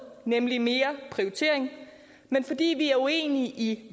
nemlig mere prioritering men fordi vi er uenige i